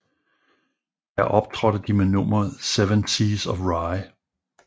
Der optrådte de med nummeret Seven Seas of Rhye